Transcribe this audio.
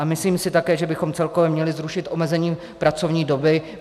A myslím si také, že bychom celkově měli zrušit omezení pracovní doby.